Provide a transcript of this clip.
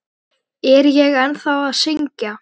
Er ég ennþá að syngja?